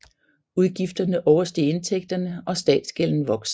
Udgifterne oversteg indtægterne og statsgælden voksede